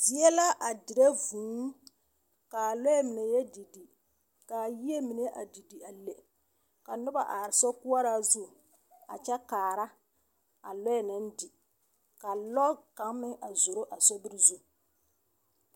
Zie la a dire vũũ, ka lɔɛ mine didi, ka yie mine a didi a le ka noba are sokoɔraa zu a kyɛ kaara a lɔɛ naŋ di. Ka lɔre kaŋmeŋ a zoro a sobiri zu.